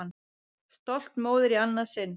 Stolt móðir í annað sinn.